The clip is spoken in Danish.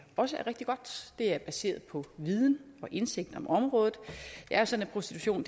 også er rigtig godt det er baseret på viden og indsigt på området det er sådan at prostitution